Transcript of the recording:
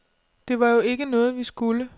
Det var jo ikke noget, vi skulle.